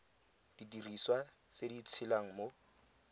didiriswa tse di tshelang mo